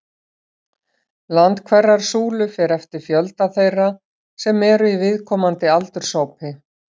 Lengd hverrar súlu fer eftir fjölda þeirra sem eru í viðkomandi aldurshópi.